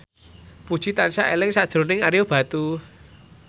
Puji tansah eling sakjroning Ario Batu